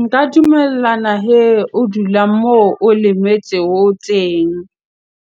Nka dumellana hee o dula moo o lemetsego teng